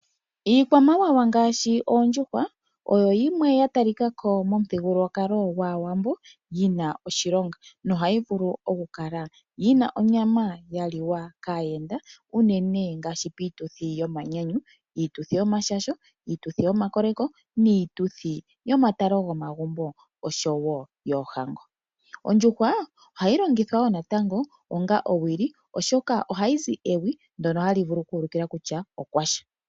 Iikwamawawa ngaashi oondjuhwa oyo yimwe yatalikako momuthigululwakalo gwaawambo yina oshilonga na ohayi vulu okukala yina onyama yaliwa kaayenda uunene ngaashi piituthi yomanyanyu. Iituthi yomashasho, iituthi yomakoleko, niituthi yomatalo gomagumbo oshowo yoohango. Ondjuhwa ohayi longithwa wo natango onga owili, oshoka ohayi zi ewi ndono hali vulu okuulukila kutya okwasha.